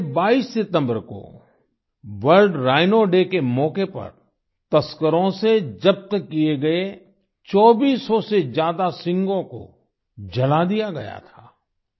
पिछले 22 सितम्बर को वर्ल्ड राइनो डे के मौके पर तस्करों से जब्त किये गए 2400 से ज्यादा सींगों को जला दिया गया था